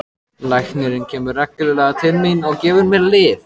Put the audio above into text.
Læknirinn kemur reglulega til mín og gefur mér lyf.